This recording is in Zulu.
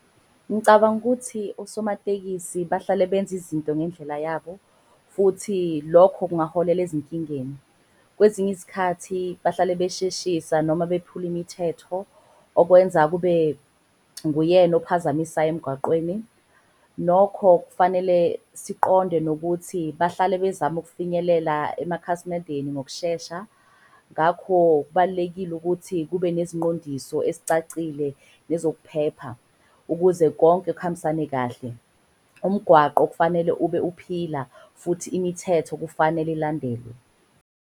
Ngicabanga ukuthi osomatekisi bahlale benza izinto ngendlela yabo futhi lokho kungaholela ezinkingeni. Kwezinye izikhathi bahlale besheshisa noma bephula imithetho okwenza kube nguyena okuphazamisayo emgwaqweni. Nokho kufanele siqonde nokuthi bahlale bezama ukufinyelela emakhasimendeni ngokushesha. Ngakho kubalulekile ukuthi kube nezinqondiso ezicacile nezokuphepha ukuze konke kuhambisane kahle. Umgwaqo okufanele ube uphila futhi imithetho kufanele ilandelwe.